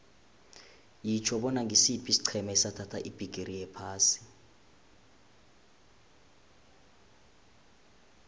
yitjho bona ngisiphi isiqhema esathatha ibhigiri yephasi